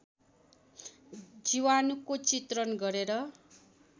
जीवाणुको चित्रण गरेर